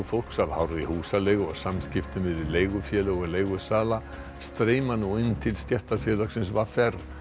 fólks af hárri húsaleigu og samskiptum við leigufélög og leigusala streyma nú inn til stéttarfélagsins v r